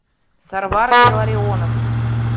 сарвар илларионов